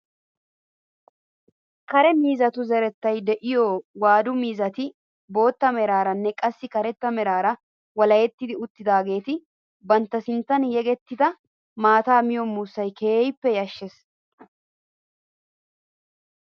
Kare miizzatu zerettay de'iyoo waadu miizzati bootta meraaranne qassi karetta meraara walaheti uttidaageti bantta sinttan yegettida maataa miyoo muussay keehippe yashshees!